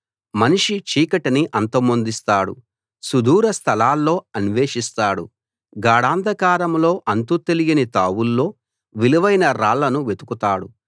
మనిషి చీకటిని అంతమొందిస్తాడు సుదూర స్థలాల్లో అన్వేషిస్తాడు గాఢాంధకారంలో అంతు తెలియని తావుల్లో విలువైన రాళ్ళను వెతుకుతాడు